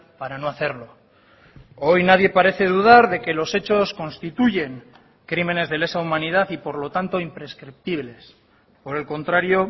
para no hacerlo hoy nadie parece dudar de que los hechos constituyen crímenes de lesa humanidad y por lo tanto imprescriptibles por el contrario